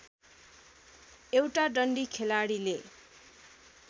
एउटा डन्डी खेलाडीले